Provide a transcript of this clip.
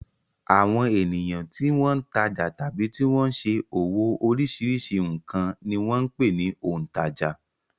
Àwọn ènìyàn tí wọ́n ń tajà tàbí tí wọ́n ṣe òwò oríṣiríṣi nǹkan ni wọ́n ń pè ní òǹtajà.